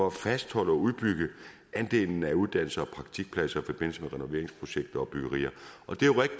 at fastholde og udbygge andelen af uddannelses og praktikpladser i forbindelse med renoveringsprojekter og byggerier og